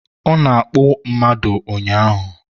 Ọ nọ na-akpụ mmadụ ụnyaahụ